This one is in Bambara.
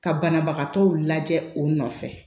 Ka banabagatɔw lajɛ o nɔfɛ